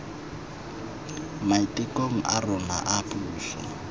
maitekong a rona a puso